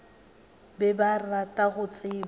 be ba rata go tseba